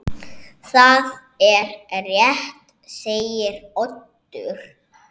Það er rétt segir Oddur.